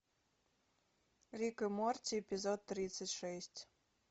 рик и морти эпизод тридцать шесть